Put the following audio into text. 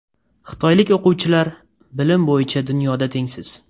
Xitoylik o‘quvchilar – bilim bo‘yicha dunyoda tengsiz.